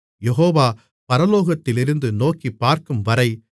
யெகோவா பரலோகத்திலிருந்து நோக்கிப்பார்க்கும்வரை